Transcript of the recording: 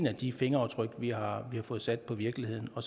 af de fingeraftryk vi har fået sat på virkeligheden og